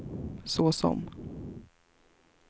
såsom